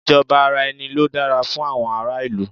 Ìjọba ara ẹni ló dára fún àwọn ará ìlú